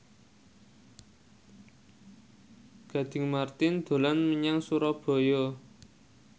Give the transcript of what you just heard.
Gading Marten dolan menyang Surabaya